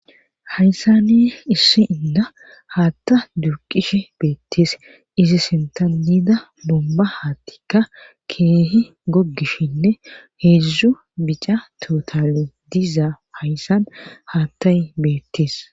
Hayssani issi inda haatta duuqishe beettees izi sintanida bomba haattikka keehi gogishinne heedzdzu bica totale diiza hayssan haattay beettees.